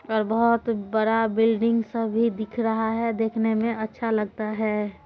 और बहुत बड़ा बिल्डिंग सब भी दिख रहा हैदेखने में अच्छा लगता हैं ।